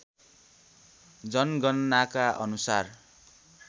जनगणनाका अनुसार